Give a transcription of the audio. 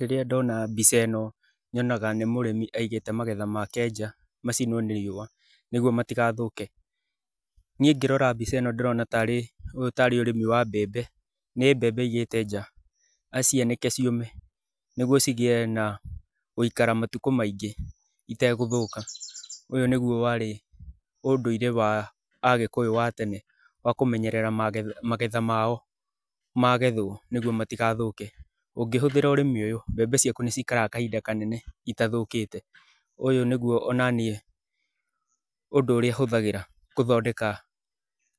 Rĩrĩa ndona mbica ĩno nyonaga nĩ mũrĩmi aigĩte magetha make nja macinũo nĩ riũa nĩgetha matigathũke. Niĩ ngĩrora mbica ĩno ndĩrona tarĩ ũyũ tarĩ ũrĩmi wa mbembe, nĩ mbembe aigĩte nja acianĩke ciũme, nĩguo cigĩe na gũikara matukũ maingĩ itegũthũka. Ũyũ nĩguo warĩ ũũndũire wa agĩkũyũ wa tena wa kũmenyerera magetha mao magethũo nĩguo matigathũke. Ũngĩhũthĩra ũrĩmi ũyũ mbembe ciaku nĩ cikaraga kahinda kanene itathũkĩte. Ũyũ nĩguo o na niĩ ũndũ ũrĩa hũthagĩra gũthondeka